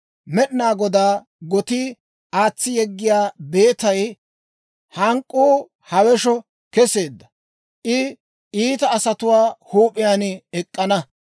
Med'inaa Godaa gotii, aatsi yeggiyaa beetay hank'k'uu hawesho keseedda! I iita asatuwaa huup'iyaan ek'k'ana.